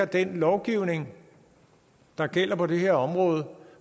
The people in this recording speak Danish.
den lovgivning der gælder på det her område